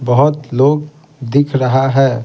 बहुत लोग दिख रहा है।